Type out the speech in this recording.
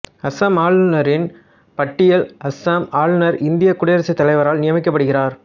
அசாம் ஆளுநர்களின் பட்டியல் அசாம் ஆளுநர் இந்தியக் குடியரசுத் தலைவரால் நியமிக்கப்படுகிறார்